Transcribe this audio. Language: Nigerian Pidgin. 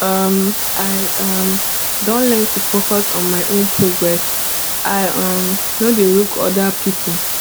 um i um don learn to focus on my own progress i um no dey look oda pipo